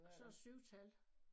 Og så et syvtal